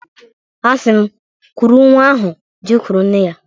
Asim, kuru nwa ahu jekuru nne-ya.